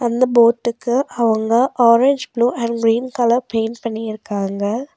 இந்த போட்டுக்கு அவங்க orange blue and green colour paint பண்ணி இருக்காங்க.